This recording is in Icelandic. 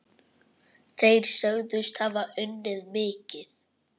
Þeir sögðust hafa unnið mikið.